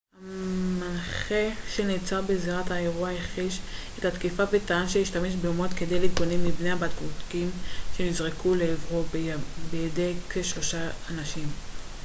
המנחה שנעצר בזירת האירוע הכחיש את התקיפה וטען שהשתמש במוט כדי להתגונן מפני הבקבוקים שנזרקו לעברו בידי כשלושים אנשים